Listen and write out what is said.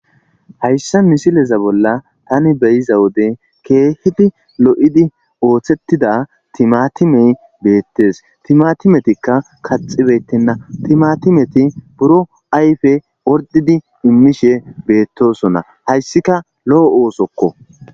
Hayssa misileza bolla taani be7iza wode keehippe lo7idi oosetida timatime beetees. Timatimetikka kaxxibeetena timatimeti boro ayfe ordidi mishe beetosona Hayssika loo oosokko.